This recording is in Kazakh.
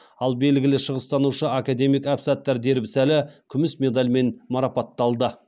ал белгілі шығыстанушы академик әбсаттар дербісәлі күміс медальмен марапатталды